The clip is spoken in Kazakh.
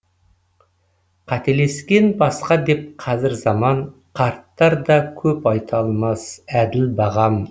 қателескен басқа деп қазір заман қарттар да көп айта алмас әділ бағам